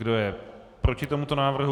Kdo je proti tomuto návrhu?